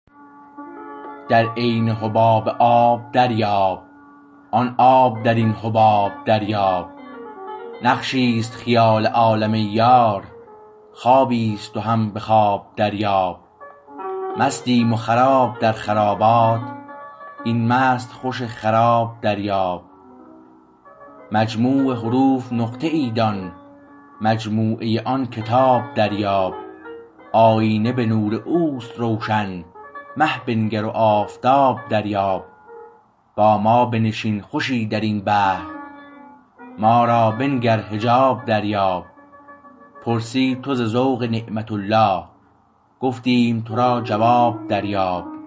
در عین حباب آب دریاب آن آب در این حباب دریاب نقشی است خیال عالم ای یار خوابی است و هم به خواب دریاب مستیم و خراب در خرابات این مست خوش خراب دریاب مجموع حروف نقطه ای دان مجموعه آن کتاب دریاب آیینه به نور او است روشن مه بنگر و آفتاب دریاب با ما بنشین خوشی در این بحر ما را بنگر حجاب دریاب پرسی تو ز ذوق نعمت الله گفتیم تو را جواب دریاب